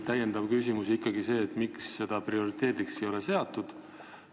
Täpsustav küsimus on ikkagi see, miks seda prioriteediks ei ole seatud.